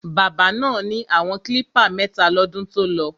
Bábà náà ni àwọn klípà mẹ́ta lọ́dún tolọ.